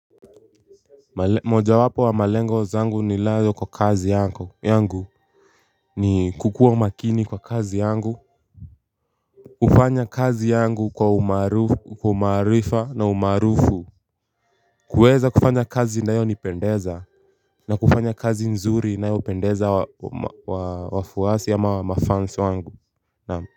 Moja wapo wa malengo zangu nilayo kwa kazi yangu ni kukuwa makini kwa kazi yangu. Kufanya kazi yangu kwa umaarifa na umaarufu. Kuweza kufanya kazi inayo nipendeza na kufanya kazi nzuri inayo pendeza wafuwasi ama mafuns wangu na.